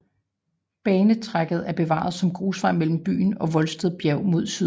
Banetracéet er bevaret som grusvej mellem byen og Voldsted Bjerg mod syd